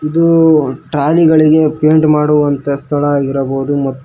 ಇದು ಟ್ರಾಲಿಗಳಿಗೆ ಪೈಂಟ್ ಮಾಡುವಂತಹ ಸ್ಥಳ ಆಗಿರಬಹುದು ಮ--